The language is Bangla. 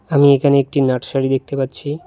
আমি এখানে একটি নার্সারি দেখতে পাচ্ছি।